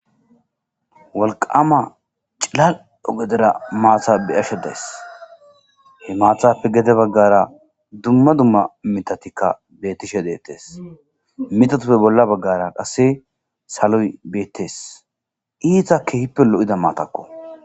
Walqama cilal'o gedera maatha beyashe dees he maathappe gede baggara dumma dumma mitatikka bettishe deettes mitatuppe bolla baggara qasse saloy beettees iita kehippe lo'ida maatakko.